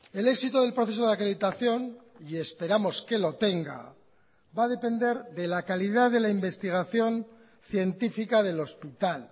el éxito del proceso de acreditación y esperamos que lo tenga va a depender de la calidad de la investigación científica del hospital